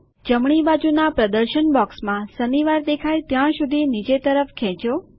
જમણી બાજુના પ્રદર્શન બોક્સમાં શનિવાર દેખાય ત્યાં સુધી તે નીચે તરફ ખેંચો